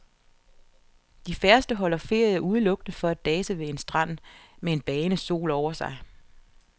De færreste holder ferie udelukkende for at dase ved en strand med en bagende sol over sig.